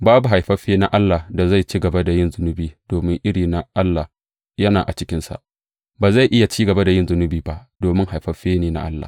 Babu haifaffe na Allah da zai ci gaba da yin zunubi, domin iri na Allah yana a cikinsa; ba zai iya ci gaba da yin zunubi ba, domin haifaffe ne na Allah.